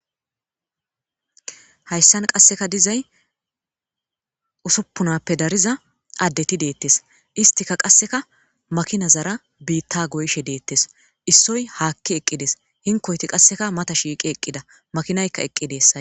hayssan qasseka dizay usuppunappe dariza addeti deettes istika qasseka makinazara biitta goyshe deettes issoy haakki eqqides hinkoyti qasseka mata shiiqi eqqida makinaykka eqqideessa